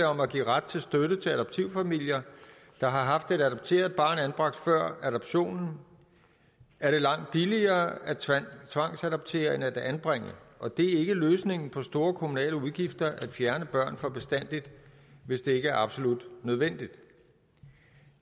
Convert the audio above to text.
om at give ret til støtte til adoptivfamilier der har haft et adopteret barn anbragt før adoptionen er det langt billigere at tvangsadoptere end at anbringe og det er ikke løsningen på store kommunale udgifter at fjerne børn for bestandig hvis det ikke er absolut nødvendigt